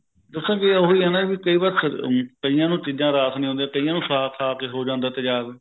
ਦਸਾ ਉਹ ਵੀ ਐਂ ਵੀ ਕਈ ਵਾਰ ਸਿਰ ਕਈਆਂ ਨੂੰ ਚੀਜਾਂ ਰਾਸ ਨਹੀਂ ਆਉਂਦਿਆ ਕਈਆਂ ਨੂੰ ਸਾਗ ਕੇ ਹੋ ਜਾਂਦਾ ਤੇਜਾਬ